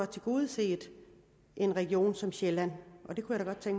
tilgodeset en region som region sjælland det kunne jeg